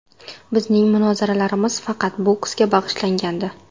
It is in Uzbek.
Bizning munozaralarimiz faqat boksga bag‘ishlangandi.